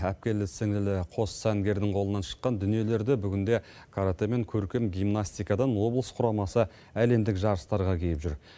әпкелі сіңілі қос сәнгердің қолынан шыққан дүниелерді бүгінде каратэ мен көркем гимнастикадан облыс құрамасы әлемдік жарыстарға киіп жүр